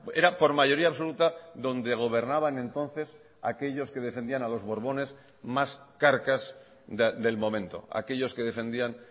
era por mayoría absoluta donde gobernaban entonces aquellos que defendían a los borbones más carcas del momento aquellos que defendían